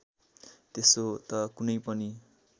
त्यसो त कुनै पनि